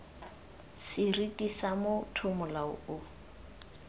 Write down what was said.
seriti sa motho molao o